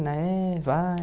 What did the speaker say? É, vai